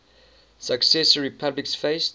successor republics faced